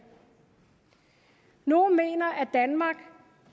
nogle mener at danmark